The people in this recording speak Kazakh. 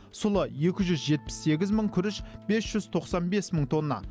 сұлы екі жүз жетпіс сегіз мың күріш бес жүз тоқсан бес мың тонна